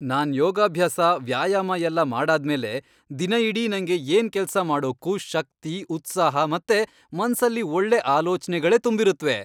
ನಾನ್ ಯೋಗಾಭ್ಯಾಸ, ವ್ಯಾಯಾಮ ಎಲ್ಲ ಮಾಡಾದ್ಮೇಲೆ ದಿನ ಇಡೀ ನಂಗೆ ಏನ್ ಕೆಲ್ಸ ಮಾಡೋಕ್ಕೂ ಶಕ್ತಿ, ಉತ್ಸಾಹ ಮತ್ತೆ ಮನ್ಸಲ್ಲಿ ಒಳ್ಳೆ ಆಲೋಚ್ನೆಗಳೇ ತುಂಬಿರತ್ವೆ.